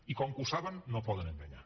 i com que ho saben no poden enganyar